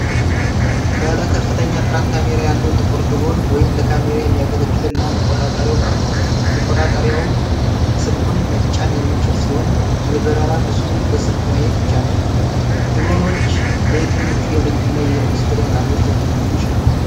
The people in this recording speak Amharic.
ባለ ከፍተኛ ጥራት ካሜራ ያለው ጥቁር ድሮን (ለካሜራ የሚያገለግል) እና መቆጣጠሪያው ቀርበዋል። መቆጣጠሪያው ስልኩን መጫን የሚችል ሲሆን የበረራ ምስሉን በስልክ ማየት ይቻላል። ድሮኖች ለየትኞቹ የንግድ እና የኢንዱስትሪ ዓላማዎች ሊያገለግሉ ይችላሉ?